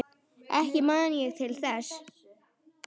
Ekki man ég til þess.